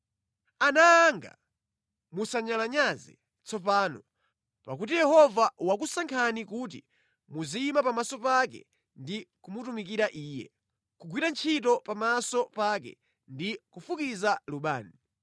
Ana anga, musanyalanyaze tsopano, pakuti Yehova wakusankhani kuti muziyima pamaso pake ndi kumutumikira Iye, kugwira ntchito pamaso pake ndi kufukiza lubani.”